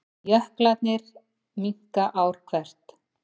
Jöklarnir minnka ár hvert